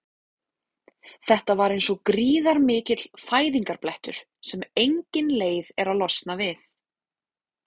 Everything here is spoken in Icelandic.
Þetta var eins og gríðarmikill fæðingarblettur sem enginn leið er að losna við.